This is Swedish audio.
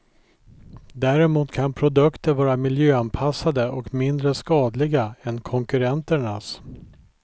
Däremot kan produkter vara miljöanpassade och mindre skadliga än konkurrenternas.